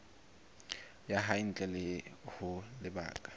ya hae ntle ho lebaka